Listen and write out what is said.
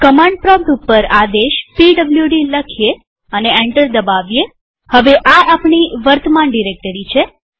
command prompt ઉપર આદેશ PWD લખીએ અને એન્ટર દબાવીએહવે આ આપણી વર્તમાન ડિરેક્ટરી છે